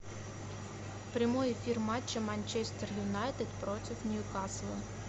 прямой эфир матча манчестер юнайтед против ньюкасла